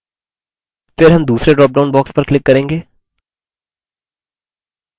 फिर हम दूसरे ड्रॉपडाउन box पर click करेंगे